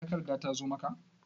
Takarda ta zo maka?